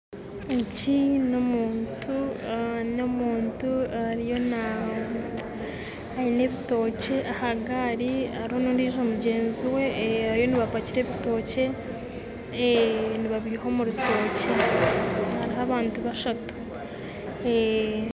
Ogu n'omuntu ariyo aine ebitokye aha gaari hariho n'ondiijo mugyenzi we bariyo nibapakira ebitookye nibabiha omu rutookye hariho abantu bashatu